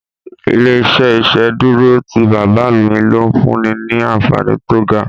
Ilé-iṣẹ́ ìsedúró tí bàbá mi n lò fúnni ní anfààní tó ga